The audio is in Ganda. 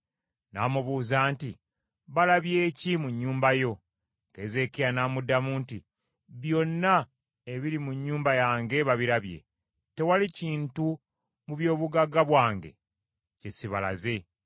N’amubuuza nti, “Balabye ki mu nnyumba yo?” Keezeekiya n’addamu nti, “Byonna ebiri mu nnyumba yange babirabye, tewali kintu mu byobugagga bwange kye sibalaze.”